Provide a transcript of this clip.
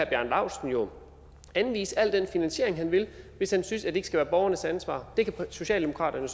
bjarne laustsen jo anvise al den finansiering han vil hvis han synes at det ikke skal være borgernes ansvar det kan socialdemokraterne